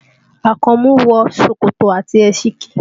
Àkànmú wọ ṣòkòtò àti ẹsikí